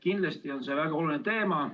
Kindlasti on see väga oluline teema.